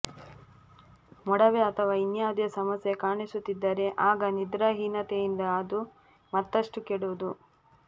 ಮೊಡವೆ ಅಥವಾ ಇನ್ಯಾವುದೇ ಸಮಸ್ಯೆ ಕಾಣಿಸುತ್ತಿದ್ದರೆ ಆಗ ನಿದ್ರಾ ಹೀನತೆಯಿಂದ ಅದು ಮತ್ತಷ್ಟು ಕೆಡುವುದು